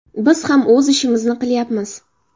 Biz ham o‘z ishimizni qilyapmiz.